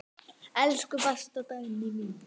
Elsku besta Dagný mín.